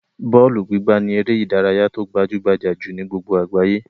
Bọ́ọ́lù gbígbá ni eré-idárayá tó gbajú-gbajà jù ni gbogbo àgbáyé.